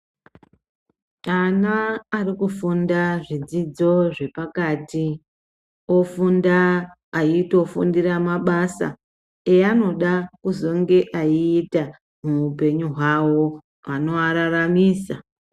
Ana arikufunda zvidzidzo zvepakati ofunda eitofundira mabasa eanoda kuzonge eiita muupenyu hwavo anovararamisa.